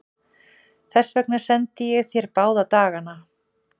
Þess vegna sendi ég þér báða dagana.